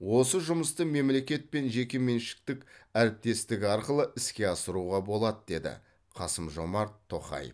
осы жұмысты мемлекет пен жекеменшіктің әріптестігі арқылы іске асыруға болады деді қасым жомарт тоқаев